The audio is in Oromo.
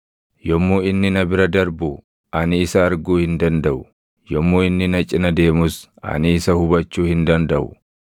Yommuu inni na bira darbu ani isa arguu hin dandaʼu; yommuu inni na cina deemus ani isa hubachuu hin dandaʼu.